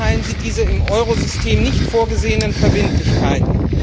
Wie beurteilen Sie diese im Eurosystem nicht vorgesehenen Verbindlichkeiten?